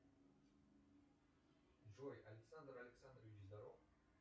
джой александр александрович здоров